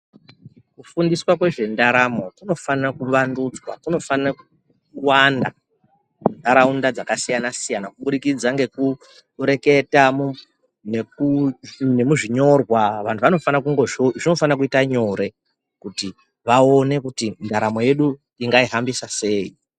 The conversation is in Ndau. Kufundiswa nezvendaramo kunofana kuvandudzwa kunofana kuwanda mundaraunda dzakasiyana siyana kubudikidza ngekureketa nemuzvinyorwa zvinofana kuita nyore kuti vaone tingazvihambisa sei.